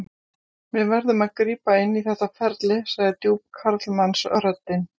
Við verðum að grípa inn í þetta ferli, sagði djúp karlmannsröddin.